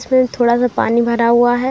इसमें थोड़ा सा पानी भरा हुआ है।